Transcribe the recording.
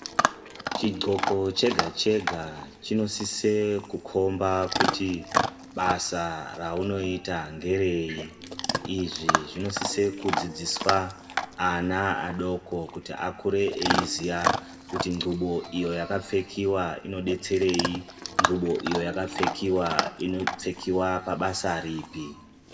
Chidxoko chega chega chinosise kukomba kuti basa raunoita ngerei. Izvi zvinosise kudzidziswa ana adoko kuti akure eiziya kuti nxubo iyo yakapfekiwa inodetserei, nxubo iyo yakapfekiwa inopfekiwa pabasa ripi.